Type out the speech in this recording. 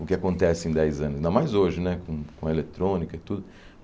O que acontece em dez anos, ainda mais hoje né, com com a eletrônica e tudo.